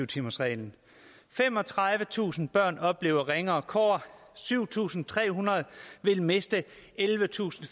timersreglen femogtredivetusind børn oplever ringere kår og syv tusind tre hundrede vil miste ellevetusinde